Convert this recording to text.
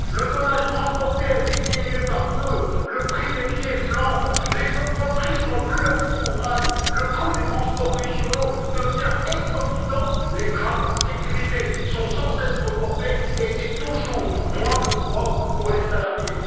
Le tonnage transporté a été diminué par deux, le prix des billets flambe, les entreprises n'ont plus accès au rail, le coût des transports régionaux devient exorbitant, les travaux de sécurité sont sans cesse reportés, et c'est toujours moins de droits pour les salariés.